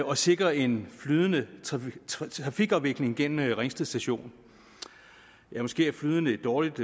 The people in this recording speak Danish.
og sikre en flydende trafikafvikling gennem ringsted station måske er flydende et dårligt